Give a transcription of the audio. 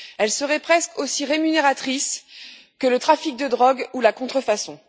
Elles seraient presque aussi rémunératrices que le trafic de drogue ou la contrefaçon.